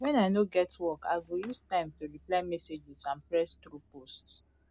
when i no get work i go use time to reply messages and press through posts